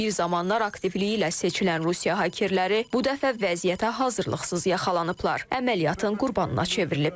Bir zamanlar aktivliyi ilə seçilən Rusiya hakerləri bu dəfə vəziyyətə hazırlıqsız yaxalanıblar, əməliyyatın qurbanına çevriliblər.